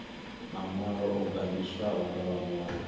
maṅwalo o gandiswaho nga vhaṅwali